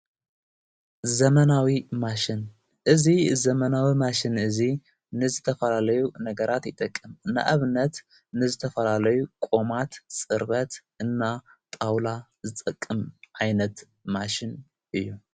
ዘመናዊ ማሽን እዙይ ዘመናዊ ማሽን እዙይ ንዝተፈላለዩ ነገራት ይጠቅም እንዕብነት ንዝተፈላለዩ ቆማት ጽርበት እና ጣውላ ዝጠቅም ኣይነት ማሽን እዩ።